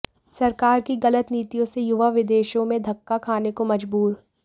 सरकार की गलत नीतियों से युवा विदेशों में धक्का खाने को मजबूर